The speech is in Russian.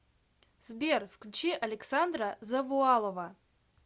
сбер включи александра завуалова